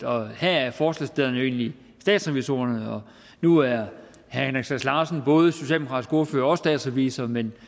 og her er forslagsstillerne jo egentlig statsrevisorerne og nu er herre henrik sass larsen både socialdemokratisk ordfører og også statsrevisor men